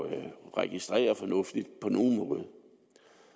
at registrere fornuftigt på nogen måde